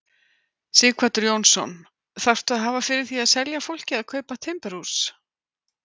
Sighvatur Jónsson: Þarftu að hafa fyrir því að selja fólki að kaupa timburhús?